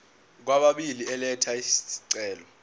kwababili elatha isicelo